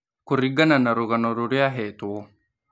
Kũringana na rũgano rũrĩa ahetwo.